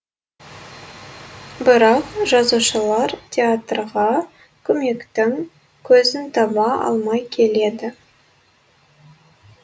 бірақ жазушылар театрға көмектің көзін таба алмай келеді